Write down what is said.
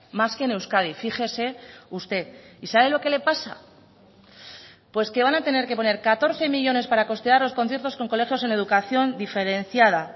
más que en euskadi fíjese usted y sabe lo que le pasa pues que van a tener que poner catorce millónes para costear los conciertos con colegios en educación diferenciada